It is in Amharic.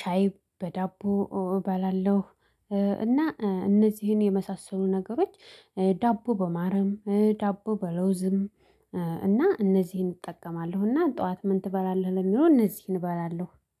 ሻይ በዳቦ እባላለሁ። እና እነዚህን የመሳሰሉ ነገሮች ዳቦ በማረም ዳቦ በለውዝም እና እነዚህን እጠቀማለሁ። እና ጠዋት ምን ትበላለህ ለሚለው እነዚህን እባላለሁ